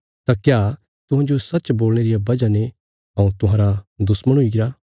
तां क्या तुहांजो सच्च बोलणे रिया वजह ने हऊँ तुहांरा दुश्मण हुईगरा